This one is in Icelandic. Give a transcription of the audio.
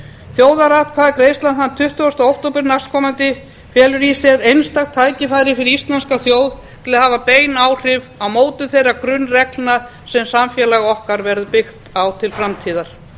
þjóðaratkvæðagreiðslan þann tuttugasta október næstkomandi felur í sér einstakt tækifæri fyrir íslenska þjóð til að hafa bein áhrif á mótun þeirra gunnreglna sem samfélag okkar verður byggt á til framtíðar